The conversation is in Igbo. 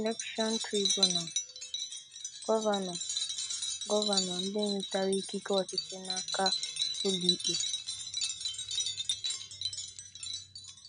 Election Tribunal: Gọvanọ Gọvanọ ndị nwetara ikike ọchịchị n'aka ụlọikpe